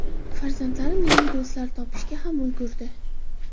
Farzandlarim yangi do‘stlar topishga ham ulgurdi”.